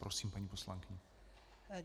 Prosím, paní poslankyně.